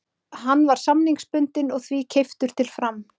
Hann var samningsbundinn og því keyptur til Fram.